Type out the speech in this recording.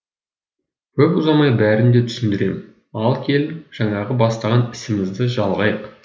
көп ұзамай бәрін де түсіндірем ал келін жаңағы бастаған ісімізді жалғайық